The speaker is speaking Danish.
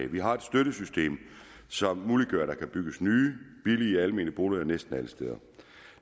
vi har et støttesystem som muliggør at der kan bygges nye billige almene boliger næsten alle steder